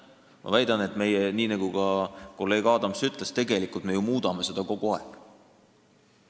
Ma väidan, nii nagu ka kolleeg Adams ütles, et tegelikult me ju muudame seda kogu aeg.